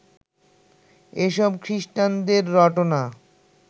এসব খিস্টানদের রটনা